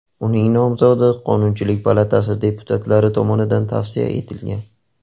Uning nomzodi Qonunchilik palatasi deputatlari tomonidan tavsiya etilgan .